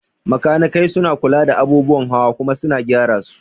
Makanikai suna kula da abubuwan hawa kuma su gyara su